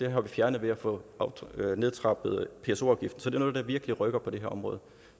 har vi fjernet ved at få nedtrappet pso afgiften så det er noget der virkelig rykker på det her område